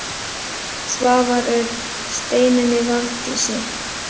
Svavar Örn: Steinunni Valdísi?